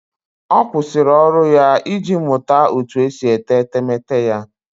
Ọ kwụsịrị ọrụ ya iji mụta otú e si ete etemeete ya